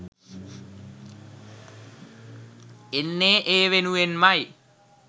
එන්නේ ඒ වෙනුවෙන්මයි